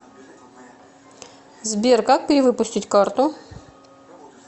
сбер как перивыпустить карту